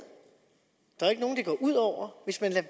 der er ikke nogen det går ud over hvis man lader